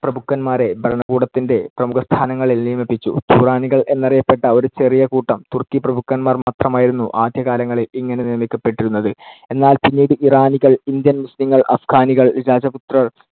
പ്രഭുക്കന്മാരെ ഭരണകൂടത്തിന്‍ടെ പ്രമുഖസ്ഥാനങ്ങളിൽ നിയമപ്പിച്ചു. തുറാനികൾ എന്നറിയപ്പെട്ട ഒരു ചെറിയ കൂട്ടം തുർക്കിപ്രഭുക്കന്മാർ മാത്രമായിരുന്നു ആദ്യകാലങ്ങളിൽ ഇങ്ങനെ നിയമിക്കപ്പെട്ടിരുന്നത്. എന്നാൽ പിന്നീട് ഇറാനികൾ, ഇന്ത്യൻ മുസ്ലീങ്ങൾ, അഫ്ഘാനികൾ, രജപുത്രർ,